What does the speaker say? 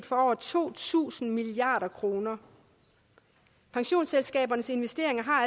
for over to tusind milliard kroner pensionsselskabernes investeringer har